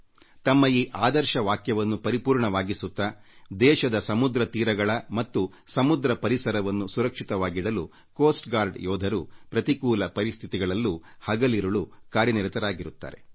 ತಮ್ಮ ಈ ಆದರ್ಶ ವಾಕ್ಯವನ್ನು ಪರಿಪೂರ್ಣವಾಗಿಸುತ್ತಾ ದೇಶದ ಸಮುದ್ರ ತೀರಗಳ ಮತ್ತು ಸಮುದ್ರ ಪರಿಸರವನ್ನು ಸುರಕ್ಷಿತವಾಗಿಡಲು ಕರಾವಳಿ ಕಾವಲು ಪಡೆ ಯೋಧರು ಪ್ರತಿಕೂಲ ಪರಿಸ್ಥಿತಿಗಳಲ್ಲೂ ಹಗಲಿರುಳು ಕಾರ್ಯನಿರತರಾಗಿರುತ್ತಾರೆ